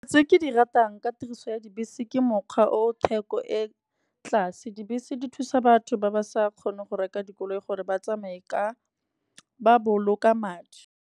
Tse ke di ratang ka tiriso ya dibese ke mokgwa o theko e ko tlase. Dibese di thusa batho ba ba sa kgoneng go reka dikoloi gore ba tsamaye ba boloka madi.